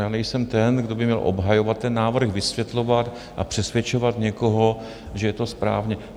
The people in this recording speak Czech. Já nejsem ten, kdo by měl obhajovat ten návrh, vysvětlovat a přesvědčovat někoho, že je to správně.